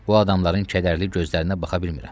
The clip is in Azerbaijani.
Bu adamların kədərli gözlərinə baxa bilmirəm.